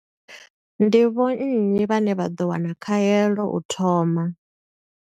Ndi vho nnyi vhane vha ḓo wana khaelo u thoma?